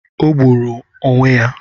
O gburu onwe ya